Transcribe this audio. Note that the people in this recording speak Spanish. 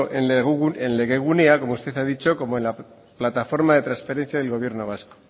en legegunea como usted ha dicho como en la plataforma de transparencia del gobierno vasco